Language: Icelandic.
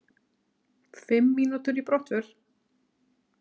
Fimm mínútur í brottför.